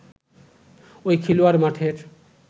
ঐ খেলোয়াড় মাঠের